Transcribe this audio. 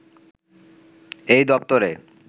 এই দপ্তরে